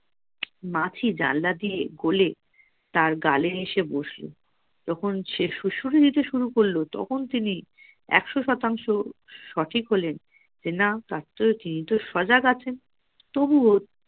মাছি জানলা দিয়ে গোলে তার গায়ে এসে বসলো যখন সে সুরসুরি দিতে শুরু করল তখন সে একশ শতাংশ সঠিক হলেন যে তার তো কিন্তু সজাগ আছেন তবুও